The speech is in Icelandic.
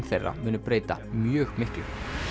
þeirra muni breyta mjög miklu